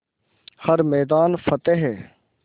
हर मैदान फ़तेह